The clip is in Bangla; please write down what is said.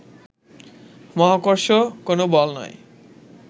মহাকর্ষ কোন বল নয়